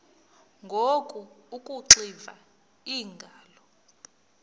ngoku akuxiva iingalo